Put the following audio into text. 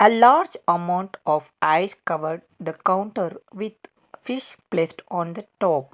A large amount of ice covered the counter with fish placed on the top.